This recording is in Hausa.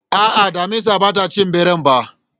A'a, damisar bata ci ɓeran ba